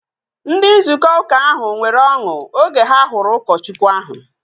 Ndị nzukọ uka ahu nwere ọṅụ oge ha hụrụ ụkọchukwu ahu